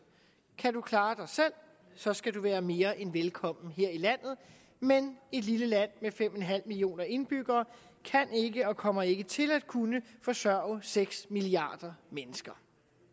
kan du klare dig selv så skal du være mere end velkommen her i landet men et lille land med fem en halv millioner indbyggere kan ikke og kommer ikke til at kunne forsørge seks milliarder mennesker